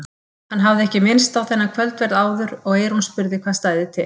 Hann hafði ekki minnst á þennan kvöldverð áður og eyrún spurði hvað stæði til.